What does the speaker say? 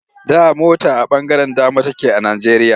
Da mota a ɓangaren dama take a Najjeriya.